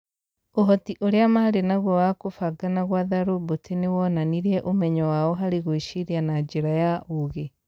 Ũhoti ũrĩa maarĩ naguo wa kũbanga na gwatha roboti nĩ woonanirie ũmenyo wao harĩ gwĩciria na njĩra ya ũũgĩ.